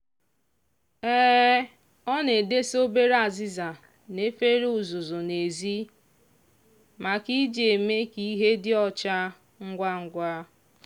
ọ na-edesa obere azịza na efere uzuzu n'ezi make iji eme ka ihe dị ọcha ngwa ngwa.